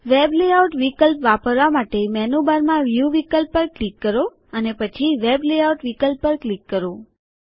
web layout વિકલ્પ વાપરવા માટે મેનુબારમાં વ્યુ વિકલ્પ પર ક્લિક કરો અને પછી વેબ લેઆઉટ વિકલ્પ પર ક્લિક કરો